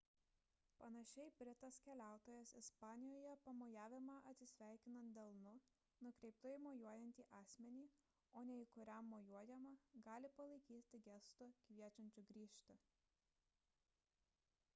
panašiai britas keliautojas ispanijoje pamojavimą atsisveikinant delnu nukreiptu į mojuojantį asmenį o ne tą kuriam mojuojama gali palaikyti gestu kviečiančiu grįžti